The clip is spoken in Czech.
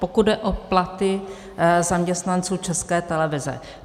Pokud jde o platy zaměstnanců České televize.